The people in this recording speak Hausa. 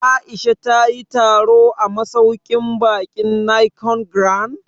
Aisha ta yi taro a masauƙin baƙin Nicon Grand?